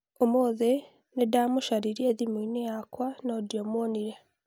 ũmũthĩ nĩndamũcaririe thimũ-inĩ yakwa no ndiamũonire.